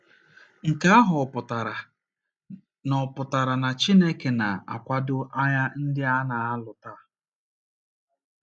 Nke ahụ ọ̀ pụtara na ọ̀ pụtara na Chineke na - akwado agha ndị a a na - alụ taa?